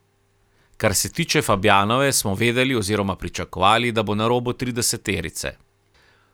Kar se tiče Fabjanove, smo vedeli oziroma pričakovali, da bo na robu trideseterice.